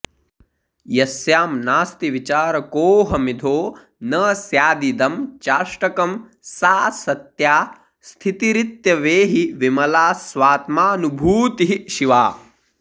यस्यां नास्ति विचारकोऽहमिधो न स्यादिदं चाष्टकं सा सत्या स्थितिरित्यवेहि विमला स्वात्मानुभूतिः शिवा